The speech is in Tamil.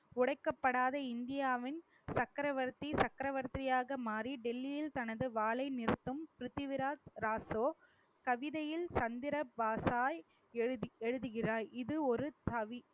உடைக்கப்படாத இந்தியாவின் சக்கரவர்த்தி சக்கரவர்த்தியாக மாறி டெல்லியில் தனது வாளை நிறுத்தும் பிரித்திவிராஜ் ராசோ கவிதையில் சந்திர பாசாய் எழுது~ எழுதுகிறாய் இது ஒரு தவி